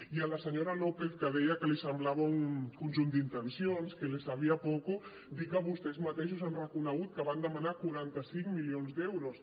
i a la senyora lópez que deia que li semblava un conjunt d’intencions que sabía a poco dir que vostès mateixos han reconegut que van demanar quaranta cinc milions d’euros